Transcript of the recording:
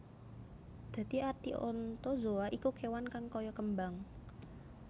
Dadi arti Anthozoa iku kéwan kang kaya kembang